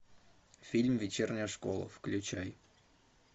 фильм вечерняя школа включай